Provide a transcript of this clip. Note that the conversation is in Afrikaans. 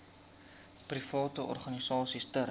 private organisasies ter